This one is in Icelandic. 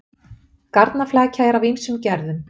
Garnaflækja er af ýmsum gerðum.